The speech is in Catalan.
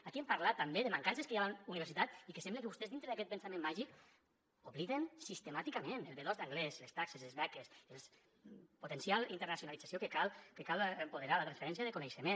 aquí hem parlat també de mancances que hi ha a la universitat i que sembla que vostès dintre d’aquest pensament màgic obliden sistemàticament el b2 d’anglès les taxes les beques la potencial internacionalització que cal empoderar la transferència de coneixement